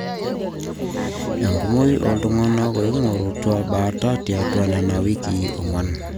enkumoi ooltung'anak ooing'orutua baata tiatwa nena wikii ong'wan